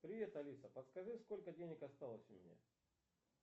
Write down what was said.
привет алиса подскажи сколько денег осталось у меня